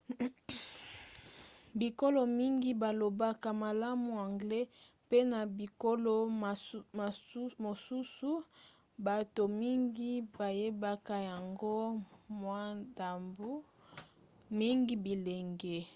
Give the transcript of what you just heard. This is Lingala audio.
bikolo mingi balobaka malamu anglais mpe na bikolo mosusu bato mingi bayebaka yango mwa ndambu - mingi bilenge